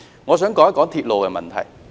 我想談談鐵路的問題。